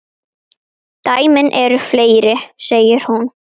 Dæmin eru fleiri, segir hún.